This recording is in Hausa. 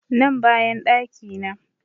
Nan bayan ɗaki na